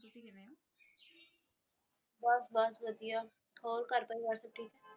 ਬੱਸ ਬੱਸ ਵਧੀਆ ਹੋਰ ਘਰ ਪਰਿਵਾਰ ਸਭ ਠੀਕ